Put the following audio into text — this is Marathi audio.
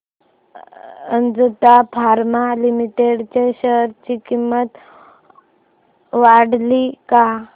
अजंता फार्मा लिमिटेड च्या शेअर ची किंमत वाढली का